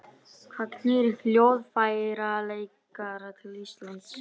Hvað knýr hljóðfæraleikara til Íslands?